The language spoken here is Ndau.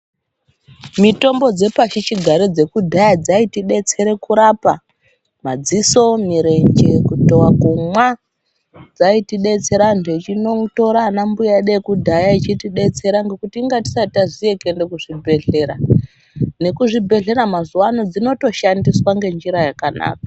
mitombo dzepashi chigare dzekudhaya dzaitibetsere kurapa madziso, mirenje, kutova, kumwa. Dzaitibetsera antu achinotora ana mbuya edu ekudhaya echitibetsera nekunga tisati taziye kuenda kuzvibhedhlera. Nekuzvibhedhlera mazuva ano dzinotoshandiswa ngenjira yakanaka.